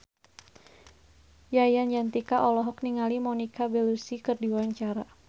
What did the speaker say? Yayan Jatnika olohok ningali Monica Belluci keur diwawancara